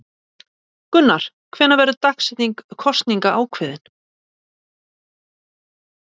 Gunnar: Hvenær verður dagsetning kosninga ákveðin?